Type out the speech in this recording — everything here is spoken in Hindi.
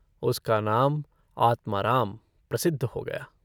उसका नाम आत्माराम प्रसिद्ध हो गया।